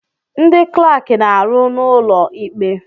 Ndị klaaki na-arụ n'ụlọ ikpe.